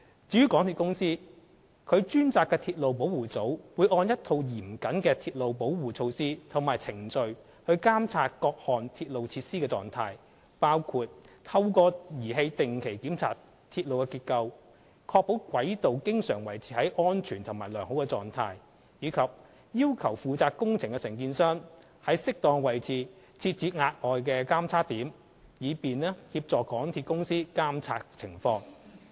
至於港鐵公司，其專責的鐵路保護組會按一套嚴謹的鐵路保護措施及程序監測各項鐵路設施的狀態，包括透過儀器定期檢查鐵路結構，確保軌道經常維持在安全及良好狀態，以及要求負責工程的承建商於適當位置設置額外的監測點，以便協助港鐵公司監察情況。